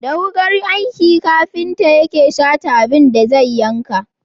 Da wukar aiki kafinta yake Shata abin da zai yanka.